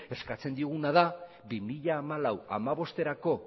eskatzen dioguna da bi mila hamalau bi mila hamabosterako